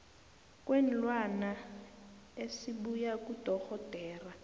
kweenlwana esibuya kudorhodera